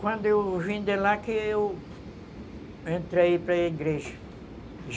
Quando eu vim de lá que eu entrei para igreja.